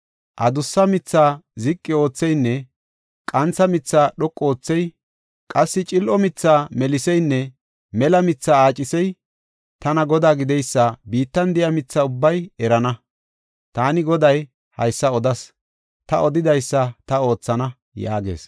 Adussa mithaa ziqi ootheynne qantha mithaa dhoqu oothey, qassi cil7o mithaa meliseynne mela mithaa aacisey tana Godaa gideysa biittan de7iya mitha ubbay erana. Taani Goday haysa odas; ta odidaysa ta oothana” yaagees.